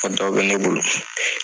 Kɔ dɔ bɛ ne bolo.